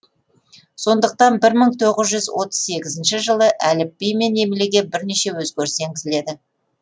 сондықтан бір мың тоғыз жүз отыз сегізінші жылы әліпбимен емлеге бірнеше өзгеріс енгізіледі